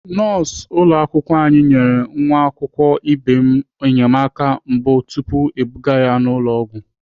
Nọọsụ ụlọakwụkwọ anyị nyere nwa akwụkwọ ibe m enyemaka mbụ tupu ebuga ya ụlọ ọgwụ.